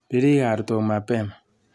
Birik artok mapema.